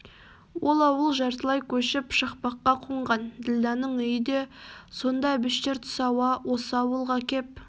ол ауыл жартылай көшіп шақпаққа қонған ділдәнің үйі де сонда әбіштер түс ауа осы ауылға кеп